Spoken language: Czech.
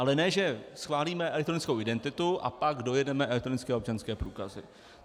Ale ne že schválíme elektronickou identitu a pak dojedeme elektronické občanské průkazy.